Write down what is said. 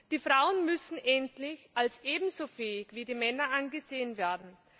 Die Frauen müssen endlich als ebenso fähig wie die Männer angesehen werden.